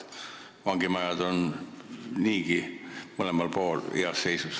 Vangimajad on mõlemal pool heas seisus.